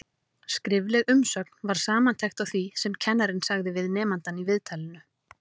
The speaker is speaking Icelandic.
Skrifleg umsögn var samantekt á því sem kennarinn sagði við nemandann í viðtalinu.